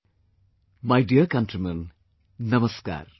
My dear countrymen, Namaskar